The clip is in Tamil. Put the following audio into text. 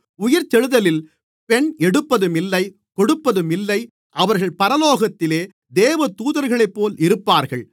உயிர்த்தெழுதலில் பெண் எடுப்பதும் இல்லை கொடுப்பதும் இல்லை அவர்கள் பரலோகத்திலே தேவதூதர்களைப்போல இருப்பார்கள்